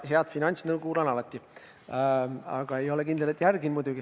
Head finantsnõu kuulan alati, aga ei ole kindel, et ka järgin.